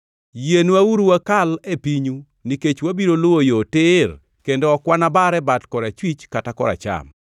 “Yienwauru wakal e pinyu nikech wabiro luwo yo tir kendo ok wanabar e bat korachwich kata koracham.